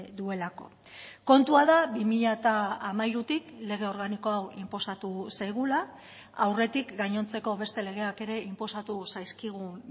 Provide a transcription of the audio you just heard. duelako kontua da bi mila hamairutik lege organiko hau inposatu zaigula aurretik gainontzeko beste legeak ere inposatu zaizkigun